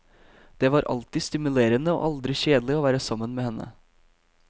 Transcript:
Det var alltid stimulerende og aldri kjedelig å være sammen med henne.